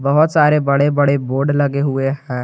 बहुत सारे बड़े बड़े बोर्ड लगे हुए हैं।